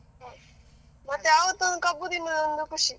ಮತ್ತೆ ಆವತ್ತು ಒಂದು ಕಬ್ಬು ತಿನ್ನುವ ಒಂದು ಖುಷಿ.